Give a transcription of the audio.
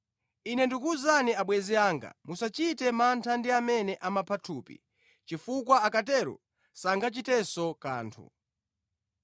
“Ine ndikuwuzani, abwenzi anga, musachite mantha ndi amene amapha thupi chifukwa akatero sangachitenso kanthu.